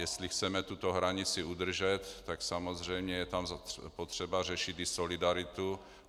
Jestli chceme tuto hranici udržet, tak samozřejmě je tam potřeba řešit i solidaritu.